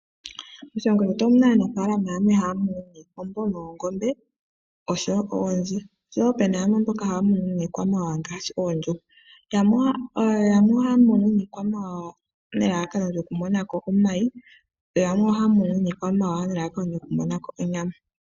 Moshilongo omuna aanafalama haya mu iikombo nongombe oshowo oonzi. Opena yamwe mboka haya mu iikwamawawa ngashi oondjuhwa, yamwe oha ya mu iikwamawawa nelalakano lyoku monako omayi noyamwe oha ya mu iikwawawawa oku monako onyama.